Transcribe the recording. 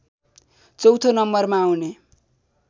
चौँथो नम्बरमा आउने